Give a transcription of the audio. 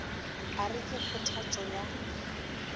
a re ke kgothatšo ya